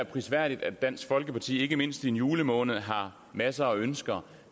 prisværdigt at dansk folkeparti ikke mindst i en julemåned har masser af ønsker